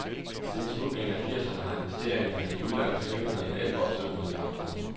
Siden slutningen af firserne har investeringerne i udlandet svinget mellem elleve og sytten milliarder kroner.